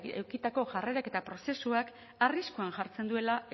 edukitako jarrerak eta prozesuak arriskuan jartzen duela